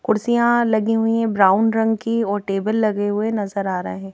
कुर्सियां लगी हुई हैं ब्राउन रंग की और टेबल लगे हुए नजर आ रहे हैं।